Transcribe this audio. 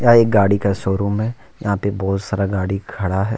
यह एक गाड़ी का शोरूम है यहां पे बहुत सारा गाड़ी खड़ा है।